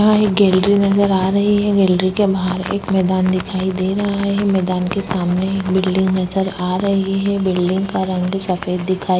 यहाँ एक गैलरी नजर आ रही है गैलरी के बाहर एक मैदान दिखाई दे रहा है मैदान के सामने एक बिल्डिंग नजर आ रही है बिल्डिंग का रंग सफेद दिखाई --